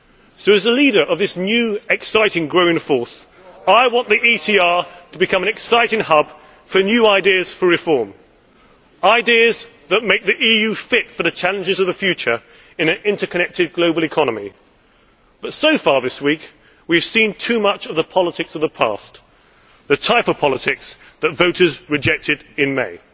So as the leader of this new, exciting, growing force, I want the ECR to become an exciting hub for new ideas for reform ideas that make the EU fit for the challenges of the future in an interconnected global economy. But so far this week we have seen too much of the politics of the past the type of politics that voters rejected in May.